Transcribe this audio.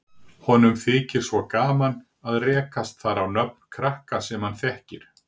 Honum þykir svo gaman að rekast þar á nöfn krakka sem hann þekkir.